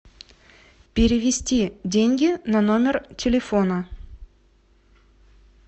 перевести деньги на номер телефона